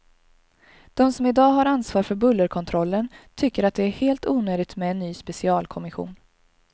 De som i dag har ansvar för bullerkontrollen tycker att det är helt onödigt med en ny specialkommission.